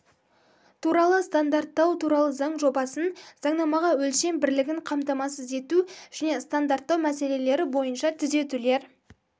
туралы стандарттау туралы заң жобасын заңнамаға өлшем бірлігін қамтамасыз ету және стандарттау мәселелері бойынша түзетулер